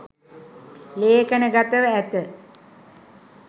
ලේඛනගතව ඇත.